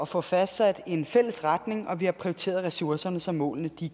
få fastsat en fælles retning og vi har prioriteret ressourcerne så målene